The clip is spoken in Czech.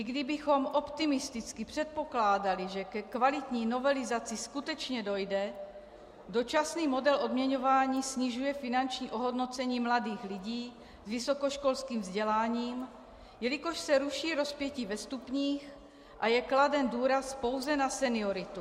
I kdybychom optimisticky předpokládali, že ke kvalitní novelizaci skutečně dojde, dočasný model odměňování snižuje finanční ohodnocení mladých lidí s vysokoškolským vzděláním, jelikož se ruší rozpětí ve stupních a je kladen důraz pouze na senioritu.